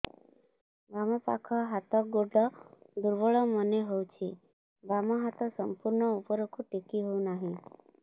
ବାମ ପାଖ ହାତ ଗୋଡ ଦୁର୍ବଳ ମନେ ହଉଛି ବାମ ହାତ ସମ୍ପୂର୍ଣ ଉପରକୁ ଟେକି ହଉ ନାହିଁ